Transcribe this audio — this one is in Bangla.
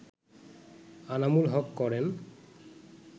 আনামুল হক করেন